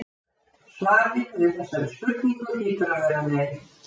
Svarið við þessari spurningu hlýtur að vera nei.